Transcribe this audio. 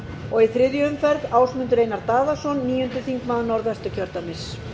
og í þriðju umferð ásmundur einar daðason níundi þingmaður norðvesturkjördæmis